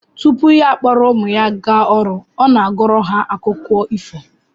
Tupu ya akpọrọ ụmụ ya gaa ọrụ, ọ na-agụrụ ha akụkọ ifo